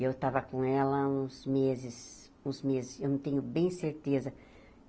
Eu estava com ela há uns meses, uns meses, eu não tenho bem certeza.